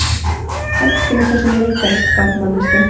Hættu nú þessum leikaraskap, manneskja.